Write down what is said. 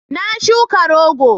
Na shuka rogo